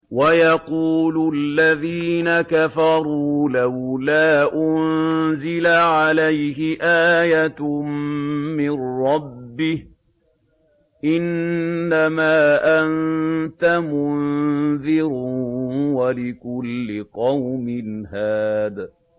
وَيَقُولُ الَّذِينَ كَفَرُوا لَوْلَا أُنزِلَ عَلَيْهِ آيَةٌ مِّن رَّبِّهِ ۗ إِنَّمَا أَنتَ مُنذِرٌ ۖ وَلِكُلِّ قَوْمٍ هَادٍ